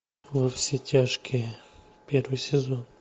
во все тяжкие первый сезон